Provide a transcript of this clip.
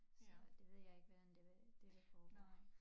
Så det ved jeg ikke hvordan det vil det vil foregå